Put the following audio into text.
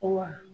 Wa